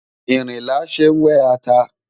Ìrinlá ṣé wẹ́ ata.